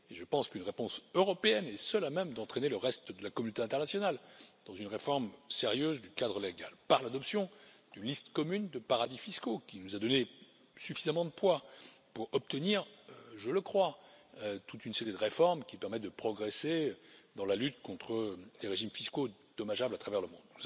Et je pense qu'une réponse européenne est seule à même d'entraîner le reste de la communauté internationale dans une réforme sérieuse du cadre légal, par l'adoption d'une liste commune de paradis fiscaux, qui nous a donné suffisamment de poids pour obtenir, je le crois, toute une série de réformes qui permettent de progresser dans la lutte contre les régimes fiscaux dommageables à travers le monde.